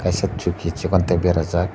kaisa chuki chikon tei bera jak.